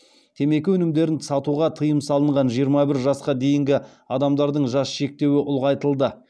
темекі өнімдерін сатуға тыйым салынған жиырма бір жасқа дейінгі адамдардың жас шектеуі ұлғайтылды